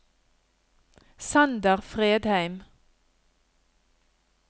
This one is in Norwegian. Sander Fredheim